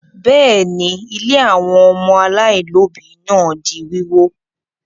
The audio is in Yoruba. Bẹ́ẹ̀ ni, ilé àwọn ọmọ aláìlóòbí náà di wíwó.